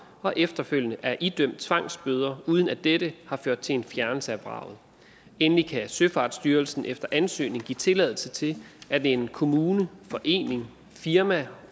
og efterfølgende er idømt tvangsbøder uden at dette har ført til en fjernelse af vraget endelig kan søfartsstyrelsen efter ansøgning give tilladelse til at en kommune en forening et firma